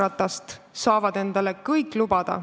Jalgratast saavad endale kõik lubada.